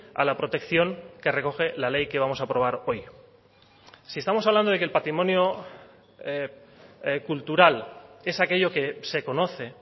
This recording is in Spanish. a la protección que recoge la ley que vamos a aprobar hoy si estamos hablando de que el patrimonio cultural es aquello que se conoce